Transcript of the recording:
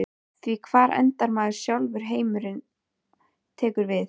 Því hvar endar maður sjálfur og heimurinn tekur við?